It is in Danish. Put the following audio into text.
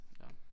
Ja